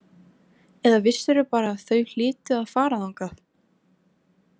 Eða vissirðu bara að þau hlytu að fara þangað?